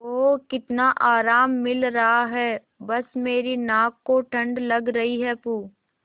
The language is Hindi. ओह कितना आराम मिल रहा है बस मेरी नाक को ठंड लग रही है प्